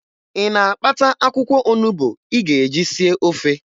Ị na-akpata akwụkwọ onubo ị ga-eji sie ofe?